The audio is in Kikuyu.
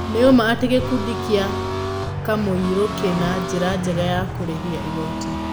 Nĩ ũma atĩ gĩkundi gĩa Kamũirũkĩna njĩra njega ya kũrĩhia igoti?